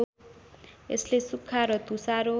यसले सुक्खा र तुषारो